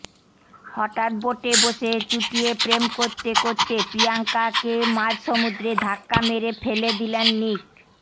হটাৎ বোটে বসে চুটিয়ে প্রেম করতে করতে প্রিয়াঙ্কাকে মাঝ সমুদ্রে ধাক্কা মেরে ফেলে দিলেন নিক